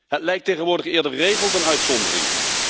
Het lijkt tegenwoordig eerder regel dan uitzondering.